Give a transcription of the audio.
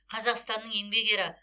қазақстанның еңбек ері